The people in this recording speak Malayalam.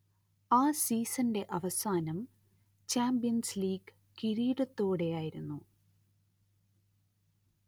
ആ സീസണിന്റെ അവസാനം ചാമ്പ്യൻസ് ലീഗ് കിരീടത്തോടെയായിരുന്നു